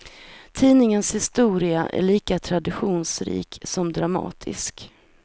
Tidningens historia är lika traditionsrik som dramatisk.